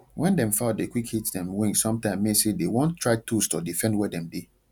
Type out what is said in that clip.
wen dem fowl dey quick hit dem wing sometime w mean say dey wan try toast or defend were dem dey